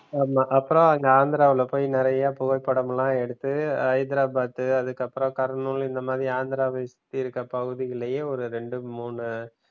ஆமா, அப்புறம் அங்க ஆந்திராவுல போயி நிறைய புகைப்படம்லாம் எடுத்து ஹைதராபாத் அதுக்கு அப்புறம் கருநூல் இந்த மாதிரி ஆந்திராவ சுத்தி இருக்குற பகுதிகளையும் ஒரு ரெண்டு மூணு